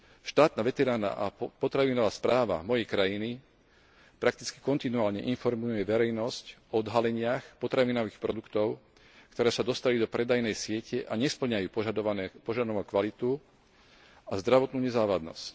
Štátna veterinárna a potravinová správa mojej krajiny prakticky kontinuálne informuje verejnosť o odhaleniach potravinových produktov, ktoré sa dostali do predajnej siete a nespĺňajú požadovanú kvalitu a zdravotnú nezávadnosť.